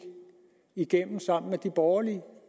igennem sammen med de borgerlige